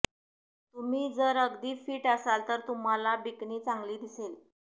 तुम्ही जर अगदी फिट असाल तर तुम्हाला बिकनी चांगली दिसेल